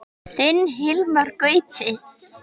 Þinn Hilmar Gauti.